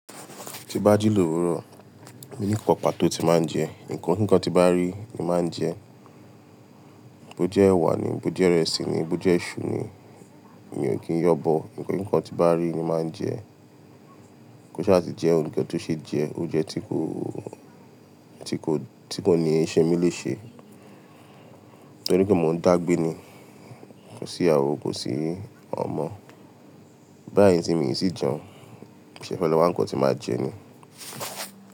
Tí n bá jí lòwúrò, mo ní nnkan pàtó tí màá ń jẹ. Ǹkan kii kan tí n bá rí ni màá ń jẹ. Bo jẹ́ ẹwà ni, bo jẹ́ ìrẹsì ni, bo jẹ́ iṣu ni, mi ò kí ń yanbọ. Ǹkan tí bá rí ni màá ń jẹ. Ko ṣa ti jẹ́ ohun kan tó ṣe jẹ oúnjẹ tí kò, tí kò, tí kò ní i ṣe mí lè ṣe. Nítorí pé mò ń dàgbé ni, kò sí iyawo kò sí ọmọ. Báyìí tí mi i tì jẹun, mo sese fe lọ́ wa ǹkan tí màá jẹ ni.